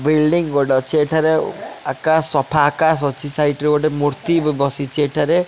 Building ଗୋଟେ ଅଛି ଏଠାରେ ଆକାଶ ସଫା ସଫା ଆକାଶ ଅଛି ସାଇଟ୍ ରେ ଗୋଟେ ମୂର୍ତ୍ତି ବସିଛି ଏଠାରେ।